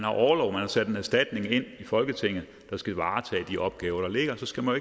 og har sendt en erstatning ind i folketinget der skal varetage de opgaver der ligger og så skal man